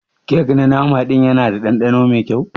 Kek na nama din Yana da dandano Mai kyau?